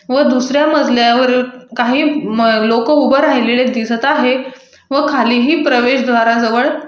व दुसर्‍या मज़ल्यावर काही म लोकं उभं राहिलेले दिसत आहे व खालीही प्रवेशद्वारा ज़वळ --